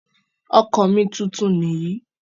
Ọkọ̀ mi tuntun nìyí.